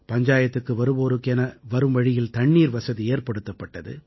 பஞ்சாயத்துக்கு வருவோருக்கு என வரும் வழியில் தண்ணீர் வசதி ஏற்படுத்தப்பட்டது